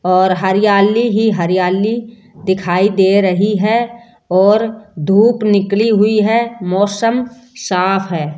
और हरियाली ही हरियाली दिखाई दे रही है और धूप निकली हुई है मौसम साफ है।